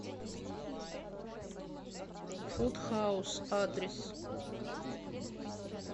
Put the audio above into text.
фуд хаус адрес